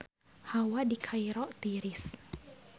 Hawa di Kairo tiris